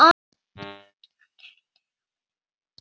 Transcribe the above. andi undan rúminu.